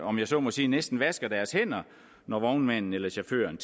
om jeg så må sige næsten vasker deres hænder når vognmændene eller chaufførerne